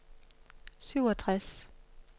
syvogtres